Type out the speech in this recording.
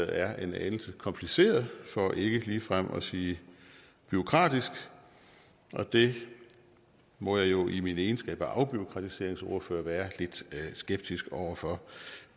er en anelse kompliceret for ikke ligefrem at sige bureaukratisk det må jeg jo i min egenskab af afbureaukratiseringsordfører være skeptisk over for